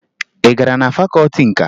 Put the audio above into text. Ị gara na fakọọti nka?